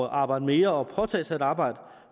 at arbejde mere og påtage sig et arbejde